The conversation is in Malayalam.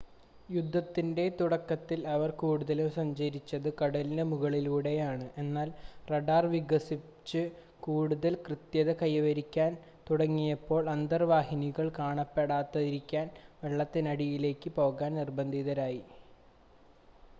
യുദ്ധത്തിൻ്റെ തുടക്കത്തിൽ അവർ കൂടുതലും സഞ്ചരിച്ചത് കടലിനു മുകളിലൂടെയാണ് എന്നാൽ റഡാർ വികസിച്ച് കൂടുതൽ കൃത്യത കൈവരിക്കാൻ തുടങ്ങിയപ്പോൾ അന്തർവാഹിനികൾ കാണാപ്പെടാതിരിക്കാൻ വെള്ളത്തിനടിയിലേക്ക് പോകാൻ നിർബന്ധിതരായി